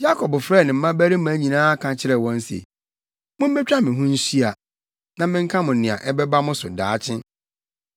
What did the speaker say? Yakob frɛɛ ne mmabarima nyinaa ka kyerɛɛ wɔn se, “Mummetwa me ho nhyia, na menka mo nea ɛbɛba mo so daakye.